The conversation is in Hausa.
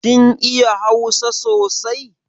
Kin iya hausa sosai?